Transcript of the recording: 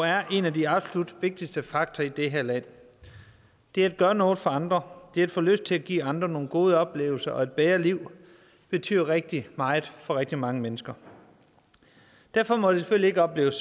er en af de absolut vigtigste faktorer i det her land det at gøre noget for andre det at få lyst til at give andre nogle gode oplevelser og et bedre liv betyder rigtig meget for rigtig mange mennesker derfor må det selvfølgelig ikke opleves